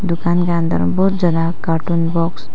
दुकान का अंदर में बहुत ज्यादा कार्टून बॉक्स --